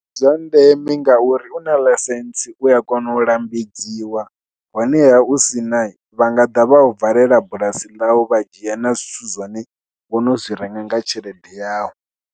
Ndi zwa ndeme ngauri u na ḽaisentse u ya kona u lambedziwa, honeha u si na vha nga ḓa vha u valela bulasi ḽau vha dzhia na zwithu zwine wo no zwi renga nga tshelede yawu.